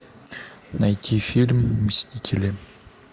найти фильм мстители